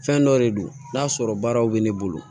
Fɛn dɔ de don n'a sɔrɔ baaraw bɛ ne bolo